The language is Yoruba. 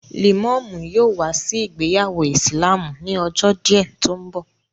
Lẹ̀mọ́mú yóò wá sí ìgbéyàwó ìsìlámù ni ọjọ́ díẹ̀ tó ń bọ̀